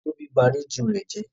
Tóbi ba rédíò rẹ̀ jẹ́.